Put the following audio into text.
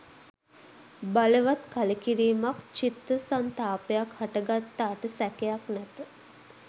බලවත් කලකිරීමක්, චිත්ත සන්තාපයක් හට ගත්තාට සැකයක් නැත.